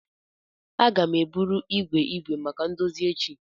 Aga m eburu igwe igwe maka ndozi echi.